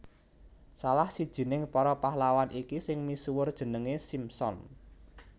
Salah sijining para pahlawan iki sing misuwur jenengé Simson